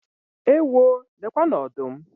Ewoo! Lekwanụ ọdụm!